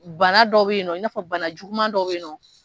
Bana dɔ bɛ yen nɔ i n'afɔ bana juguman dɔ bɛ yen nɔ